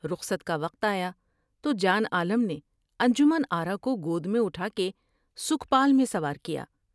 رخصت کا وقت آیا تو جان عالم نے انجمن آرا کو گود میں اٹھا کے سکھپال میں سوار کیا ۔